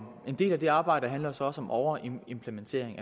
en del af det arbejde handler så også om overimplementering